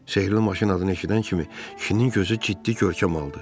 Sehrli maşın adını eşidən kimi kişinin gözü ciddi görkəm aldı.